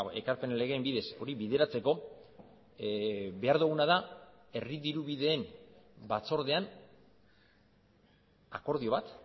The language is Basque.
ekarpen legeen bidez hori bideratzeko behar duguna da herri diru bideen batzordean akordio bat